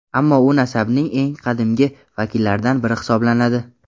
ammo u nasabning eng qadimgi vakillaridan biri hisoblanadi.